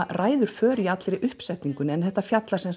ræður för í allri uppsetningunni þetta fjallar